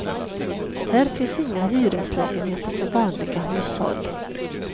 Här finns inga hyreslägenheter för vanliga hushåll.